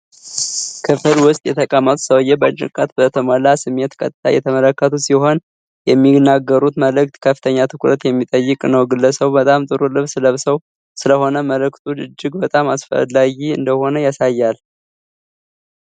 ክፍል ውስጥ የተቀመጡት ሰውየው በጭንቀት በተሞላ ስሜት ቀጥታ እየተመለከቱ ሲሆን፣ የሚናገሩት መልእክት ከፍተኛ ትኩረት የሚጠይቅ ነው። ግለሰቡ በጣም ጥሩ ልብስ ለብሰው ስለሆነ፣ መልእክቱ እጅግ በጣም አስፈላጊ እንደሆነ ያሳያል።